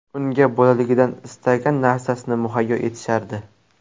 Unga bolaligidan istagan narasini muhayyo etishardi.